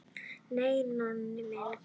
Nei, Nonni minn.